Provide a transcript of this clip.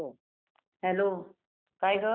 अ Suvarna madam बोलताय का?